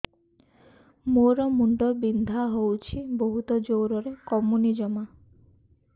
ମୋର ମୁଣ୍ଡ ବିନ୍ଧା ହଉଛି ବହୁତ ଜୋରରେ କମୁନି ଜମା